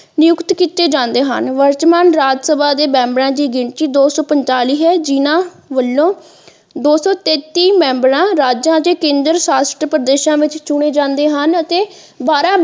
ਨਿਯੁਕਤ ਕਿੱਤੇ ਜਾਂਦੇ ਹਨ ਵਰਤਮਾਨ ਰਾਜਸਭਾ ਦੇ ਮੈਂਬਰਾਂ ਦੀ ਗਿਣਤੀ ਦੋ ਸੋ ਪੰਤਾਲੀ ਹੈ ਜਿਹਨਾਂ ਵੱਲੋਂ ਦੋ ਸੋ ਤੈਤੀ ਮੈਂਬਰਾਂ ਰਾਜਾਂ ਅਤੇ ਕੇਂਦਰ ਸ਼ਾਸਿਤ ਪ੍ਰਦੇਸ਼ਾਂ ਵਿੱਚੋਂ ਚੁਣੇ ਜਾਂਦੇ ਹਨ ਅਤੇ ਬਾਰਾਂਹ।